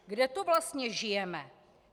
Kde to vlastně žijeme?